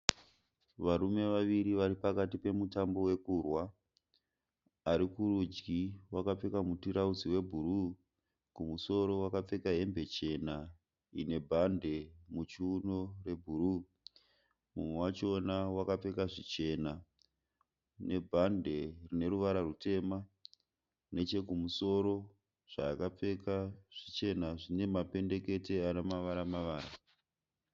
Varume vaviri vari pakati pemutambo wekurwa ari kurudyi wakapfeka mutirauzi webhuruu kumusoro wakapfeka hembe chena ine bhande muchiuno rebhuruu mumwe wachona wakapfeka zvichena nebhande rine ruvara rutema nechekumusoro zvaakapfeka zvichena zvine mapendekete ane mavara mavara.